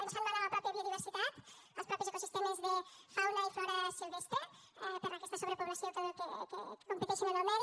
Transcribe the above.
ens fan mal a la mateixa biodiversitat als mateixos ecosistemes de fauna i flora silvestre per aquesta sobrepoblació que competeixen en el medi